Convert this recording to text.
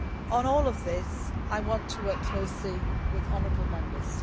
On all of this, I want to work closely with the honourable Members.